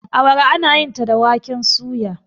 awara ana yinta da waken soya